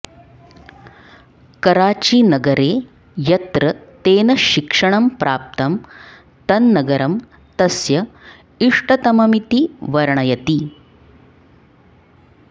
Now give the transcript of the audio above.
कराचिनगरे यत्र तेन शिक्षणं प्राप्तं तन्नगरं तस्य इष्टतममिति वर्णयति